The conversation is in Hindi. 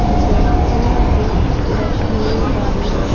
जैसी बुक रखने वाली--